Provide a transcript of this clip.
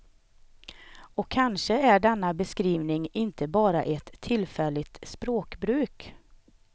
Och kanske är denna beskrivning inte bara ett tillfälligt språkbruk.